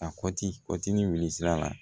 A kɔti kɔti ni wili sira la